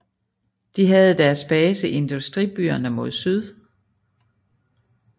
De havde deres base i industribyerne mod syd